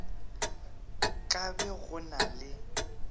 ka be go na le